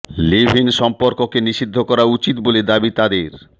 leave in সম্পর্ককে নিষিদ্ধ করা উচিত বলে দাবি তাদের